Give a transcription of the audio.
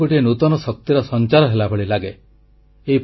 ସବୁଆଡ଼େ ଗୋଟିଏ ନୂତନ ଶକ୍ତିର ସଂଚାର ହେଲାଭଳି ଲାଗେ